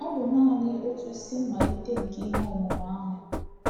Ọ bụ naanị otu isi mmalite nke ihe ọmụma ahụ.